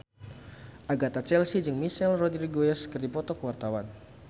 Agatha Chelsea jeung Michelle Rodriguez keur dipoto ku wartawan